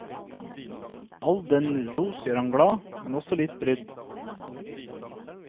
All denne ros gjør ham glad, men også litt brydd.